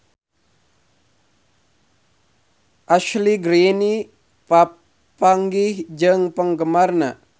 Ashley Greene papanggih jeung penggemarna